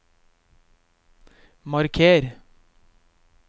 marker